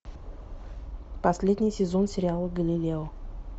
последний сезон сериала галилео